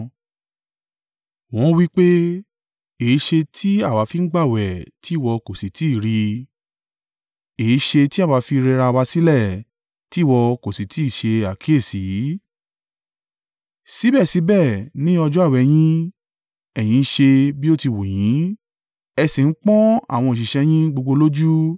Wọ́n wí pé, ‘Èéṣe tí àwa fi ń gbààwẹ̀, tí ìwọ kò sì tí ì rí? Èéṣe tí àwa fi rẹra wa sílẹ̀, tí ìwọ kò sì tí ì ṣe àkíyèsí?’ “Síbẹ̀síbẹ̀ ní ọjọ́ àwẹ̀ yín, ẹ̀yin ń ṣe bí ó ti wù yín ẹ sì ń pọ́n àwọn òṣìṣẹ́ yín gbogbo lójú.